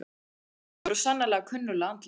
Jú, þetta voru svo sannarlega kunnugleg andlit.